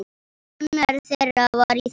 Annar þeirra var í þessu!